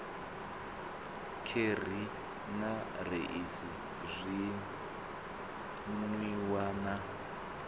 kheri na raisi zwinwiwa na